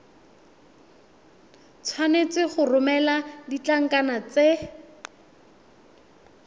tshwanetse go romela ditlankana tse